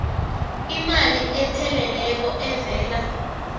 imali epheleleko evela